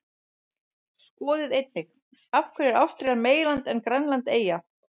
Skoðið einnig: Af hverju er Ástralía meginland en Grænland eyja?